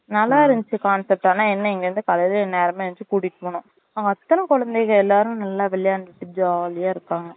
நல்லா இருந்துச்சு concept ஆனா என்ன இங்க இருந்து காலைல நேரமா எந்திருச்சு கூட்டிட்டு போணும் அங்க அத்தனை குழந்தைங்க எல்லாரும் நல்லா விளையாண்டுட்டு jolly இருப்பாங்க